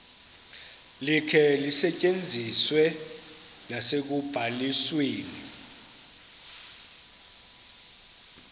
likhe lisetyenziswe nasekubalisweni